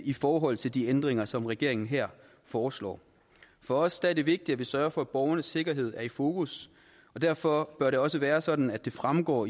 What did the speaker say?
i forhold til de ændringer som regeringen her foreslår for os er det vigtigt at vi sørger for at borgernes sikkerhed er i fokus og derfor bør det også være sådan at det fremgår